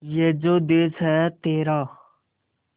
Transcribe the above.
ये जो देस है तेरा